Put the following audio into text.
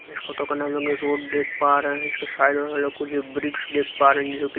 इस फोटो के अंदर हम लोग रोड देख पा रहे हैं इसके साइड में हम लोग कुछ ब्रिक्स देख पा रहे हैं जो कि--